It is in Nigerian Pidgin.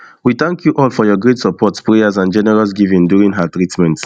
we thank you all all for your great support prayers and generous giving during her treatment